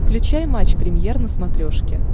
включай матч премьер на смотрешке